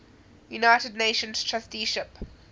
united nations trusteeship